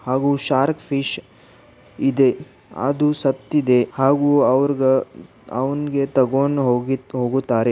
ಹಾಗೂ shark fish ಇದೆ. ಅದು ಸತ್ತಿದೆ ಹಾಗೂ ಅವ್ರ್ಗ ಅವ್ನ್ ಗೆ ತಗೊಂಡ್ ಹೋಗಿತ್ ಹೋಗುತ್ತಾರೆ.